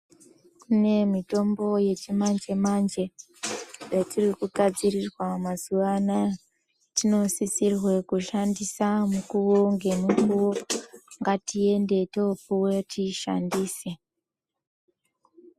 Kune mitombo yechimanje manje yatiri kugadzirirwa mazuwa anaya tinosisirwa kushandisa mukuwo nemukuwo ngatiende topuwa tiishandise .